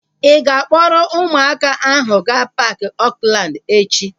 Ị ga-akpọrọ ụmụaka ahu gaa paaki Oakland echi?